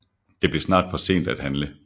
Det blev snart for sent at handle